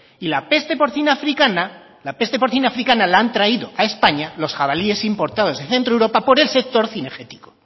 y la peste porcina africana la han traído a españa los jabalíes importados de centroeuropa por el sector cinegético